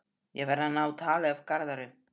Ég verð að ná tali af Garðari.